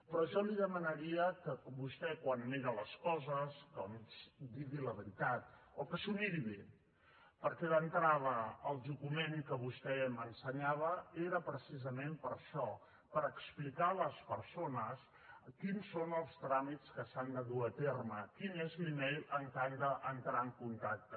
però jo li demanaria que vostè quan mira les coses doncs digui la veritat o que s’ho miri bé perquè d’entrada el document que vostè m’ensenyava era precisament per això per explicar a les persones quins són els tràmits que s’han de dur a terme quin és l’email amb què han d’entrar en contacte